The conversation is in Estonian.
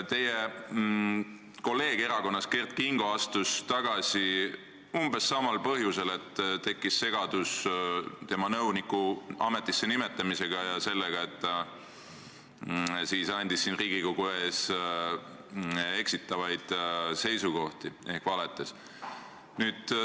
Teie kolleeg erakonnast Kert Kingo astus tagasi umbes samal põhjusel, tekkis segadus tema nõuniku ametisse nimetamisega ja sellega, et ta esitas siin Riigikogu ees eksitavaid seisukohti ehk valetas.